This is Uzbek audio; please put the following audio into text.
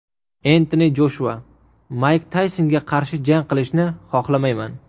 Entoni Joshua: Mayk Taysonga qarshi jang qilishni xohlamayman.